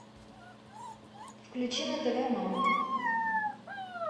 включи на тв мама